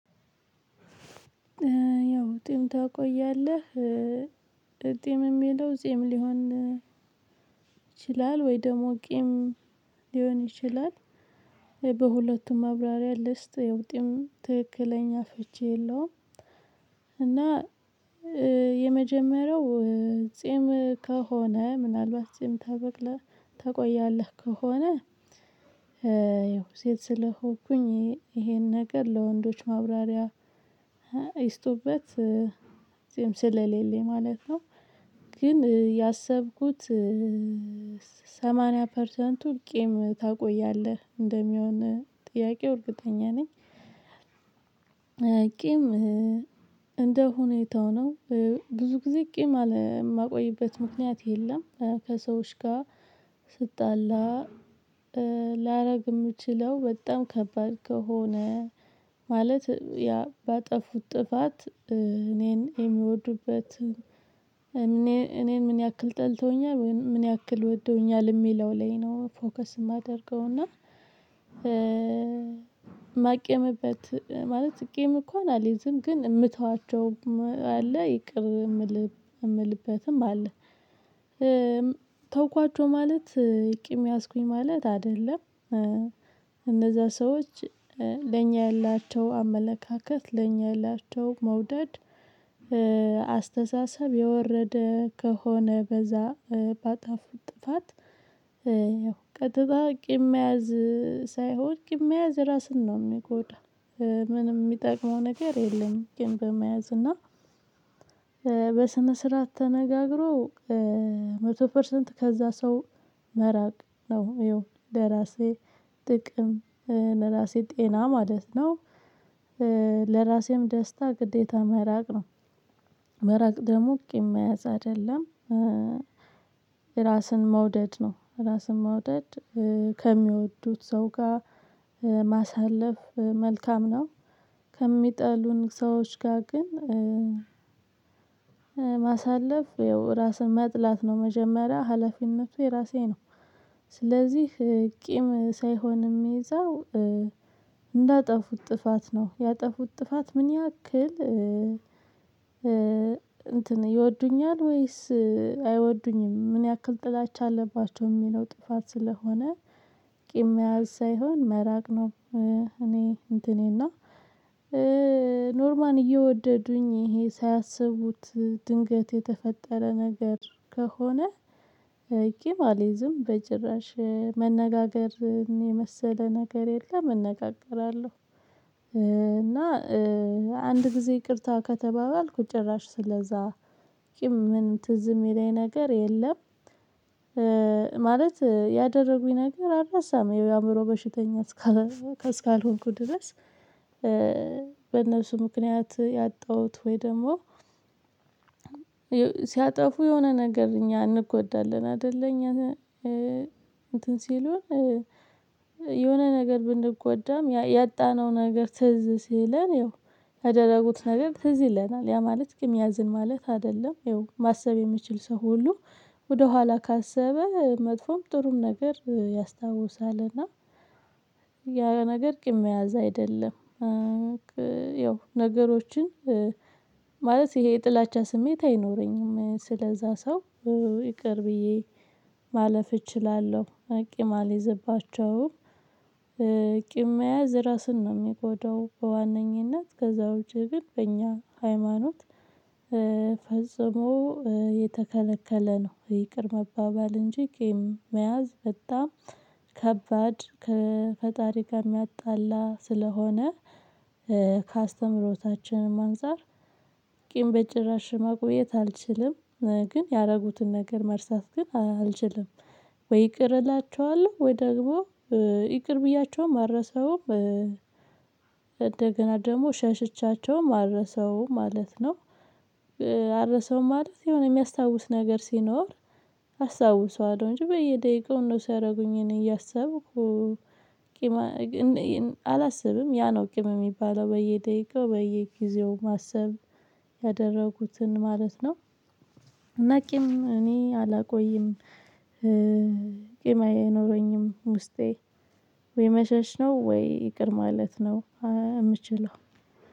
ያው ጢም ታቆያለህ ጢም የሚለው ጺም ሊሆን ይችላል ወይ ደግሞ ቄም ሊሆን ይችላል። በሁለቱም መብራርያ ልስጥ ያው ጢም ትክክለኛ ፍቺ የለውም። እና የመጀመሪያው ጼም ከሆነ ምናልባት ጼም ታበቅላ ታቆያለህ ከሆነ ይኸው ሴት ስለሆንኩኝ ይሄ ይሄን ነገር ለወንዶች ማብራሪያ ይስጡበት ጺም ስለሌለኝ ማለት ነው። ግን ያሰብኩት ሰማንያ ፐርሰንቱ ቂም ታቆያለህ እንደሚሆን ጥያቄው እርግጠኛ ነኝ። ቂም እንደ ሁኔታው ነው። ብዙ ጊዜ ቂም የማቆይበት ምክንያት የለም። ከሰዎች ጋር ስጣላ ላደርግ የምችለው በጣም ከባድ ከሆነ። ማለት ያ ባጠፉት ጥፋት እኔን የሚወዱበትን እኔ እኔን ምን ያክል ጠልተውኛል ወይም ምን ያክል ወዶውኛል የሚለው ላይ ነው ፎከስ የማደርገው። እና ማቄምበት ማለት ቂም እንኳን አልይዝም። ግን የምተዋቸው አለ ይቅር የምልበትም አለ። ተውኳቸው ማለት ቂም ያዝኩኝ ማለት አይደለም። እነዛ ሰዎች ለኛ ያላቸው አመለካከት ለኛ ያላቸው መውደድ አስተሳሰብ የወረደ ከሆነ በዛ ጥፋት ያው ቀጥ አድርጌ መያዝ ሳይሆን ቂም መያዝ ራስን ነው የሚጎዳው። ምንም የሚጠቅመው ነገር የለም። ግን በመያዝ እና በስነ ስርዓት ተነጋግሮ መቶ ፐርሰንት ከዛ ሰው መራቅ ነው ይኸው ለራሴ ጥቅም ለራሴ ጤና ማለት ነው። ለራሴም ደስታ ግዴታ መራቅ ነው። መራቅ ደግሞ ቂም መያዝ አይደለም። ራስን መውደድ ነው ራስን መውደድ ከሚወዱት ሰው ጋር ማሳለፍ መልካም ነው። ከሚጠሉን ሰዎች ጋር ግን ያው ራስን መጥላት ነው መጀመሪያ ሀላፊነቱ የራሴ ነው። ስለዚህ ቂም ሳይሆን የሚይዘው እንዳጠፉት ጥፋት ነው ያጠፉት ጥፋት ምን ያክል እንትን ይወዱኛል ወይስ አይወዱኝም ምን ያክል ጥላቻ አለባቸው። የሚለው ጥፋት ስለሆነ ቂም መያዝ ሳይሆን መራቅ ነው። እኔ እንትኔ እና ኖርማል እየወደዱኝ ይሄ ሳያስቡት ድንገት የተፈጠረ ነገር ከሆነ ቂም አልይዝም። በጭራሽ መነጋገርን የመሰለ ነገር የለም። እነጋገራለሁ እና አንድ ጊዜ ይቅርታ ከተባባልኩ ጭራሽ ስለዛ ቂም ምንም ትዝ የሚለኝ ነገር የለም። ማለት ያደረጉኝ ነገር አልረሳም የአእምሮ በሽተኛ እስካልሆነ እስካልሆንኩ ድረስ። በእነሱ ምክንያት ያጣሁት ወይ ደግሞ ሲያጠፉ የሆነ ነገር እኛ እንጎዳለን አይደል? እኛ እንትን ሲሉ የሆነ ነገር ብንጎዳም ያ ያጣነው ነገር ትዝ ሲለን ያደረጉት ነገር ትዝ ይለናል። ያ ማለት ቂም ያዝን ማለት አይደለም። ይኸው ማሰብ የሚችል ሰው ሁሉ ወደኋላ ካሰበ መጥፎም ጥሩም ነገር ያስታውሳል። እና ያ ያ ነገር ቂም መያዝ አይደለም። ያው ነገሮችን ማለት ይሄ የጥላቻ ስሜት አይኖረኝም ስለዛ ሰው ይቅር ብዬ ማለፍ እችላለሁ ቂም አልይዝባቸውም። ቂም መያዝ እራስን ነው የሚጎዳው በዋነኝነት ከዛ ውጭ ግን በእኛ ሃይማኖት ፈጽሞ የተከለከለ ነው። ይቅር መባባል እንጂ ቂም መያዝ በጣም ከባድ ከፈጣሪ ጋር የሚያጣላ ስለሆነ። ከአስተምህሮታችንም አንፃር ቂም በጭራሽ ማቆየት አልችልም። ግን ያደረጉትን ነገር መርሳት ግን አልችልም። ወይ ይቅር እላችኋለሁ ወይ ደግሞ ይቅር ብያቸውም አልረሳውም። እንደገና ደግሞ ሸሽቻቸውም አልረሳውም ማለት ነው። አልረሳውም ማለት የሆነ የሚያስታውስ ነገር ሲኖር አስታውሰዋለሁ እንጂ በየደቂቃው እነሱ ያደረጉኝን እያሰብኩ ቂም አላስብም ያ ነው ቂም የሚባለው በየደቂቃው በየጊዜው ማሰብ ያደረጉትን ማለት ነው። እና ቂም እኔ አላቆይም። ቂም አይኖረኝም። ውስጤ ወይ መሸሽ ነው ወይ ይቅር ማለት ነው። የምችለው